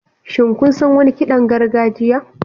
Shin kun san wani kiɗan gargajiya?